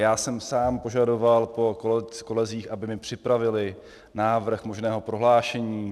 Já jsem sám požadoval po kolezích, aby mi připravili návrh možného prohlášení.